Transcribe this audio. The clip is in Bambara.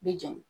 Bi jeni